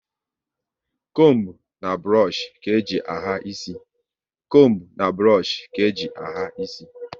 Combu na burush ka eji ahà isi